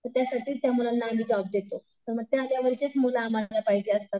तर त्यासाठीचं त्या मुलांना आम्ही जॉब देतो. मग त्या लेव्हलचेच मुलं आम्हाला पाहिजेल असतात.